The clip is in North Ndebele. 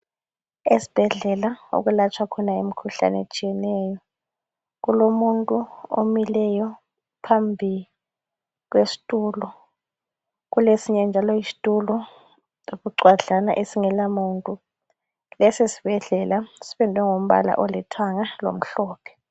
Esibhedlela okulatshwa khona imkhuhlane etshiyeneyo kulomuntu omileyo phambi kwesitulo kulesinye njalo isitulo ebucwadlana okungela muntu leso sibhedlela sipendwe ngombala olithanga